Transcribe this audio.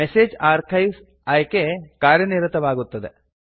message archives ಆಯ್ಕೆ ಕಾರ್ಯನಿರತವಾಗುತ್ತದೆ